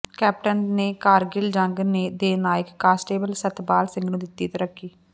captain ਨੇ ਕਾਰਗਿਲ ਜੰਗ ਦੇ ਨਾਇਕ ਕਾਂਸਟੇਬਲ ਸਤਪਾਲ ਸਿੰਘ ਨੂੰ ਦਿੱਤੀ ਤਰੱਕੀ